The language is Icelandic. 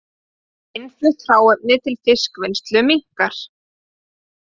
Innflutt hráefni til fiskvinnslu minnkar